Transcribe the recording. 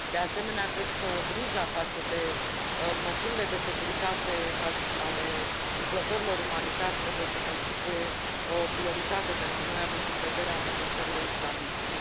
De asemenea, cred că grija față de măsurile de securitate ale lucrătorilor umanitari trebuie să constituie o prioritate pentru noi, având în vedere amenințările islamiste.